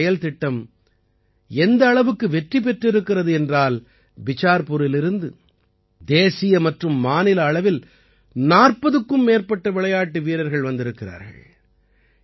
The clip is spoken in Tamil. இந்தச் செயல்திட்டம் எந்த அளவுக்கு வெற்றி பெற்றிருக்கிறது என்றால் பிசார்புரிலிருந்து தேசிய மற்றும் மாநில அளவில் 40க்கும் மேற்பட்ட விளையாட்டு வீரர்கள் வந்திருக்கிறார்கள்